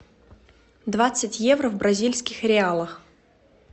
двадцать евро в бразильских реалах